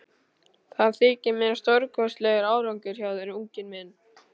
Það þykir mér stórkostlegur árangur hjá þér, unginn minn.